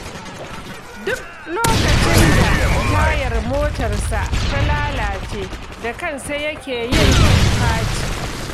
Duk lokacin da tayar motarsa ta lalace, da kansa yake yin faci.